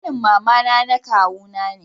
ƙanin mama na kawu na ne